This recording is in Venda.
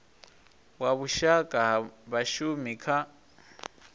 wa vhushaka ha vhashumi kha